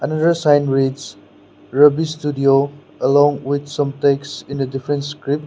another sign reads ruby studio along with some texts in a different script.